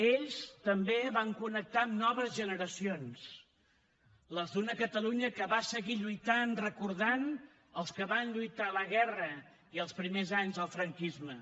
ells també van connectar amb noves generacions les d’una catalunya que va seguir lluitant recordant els que van lluitar a la guerra i als primers anys dels franquisme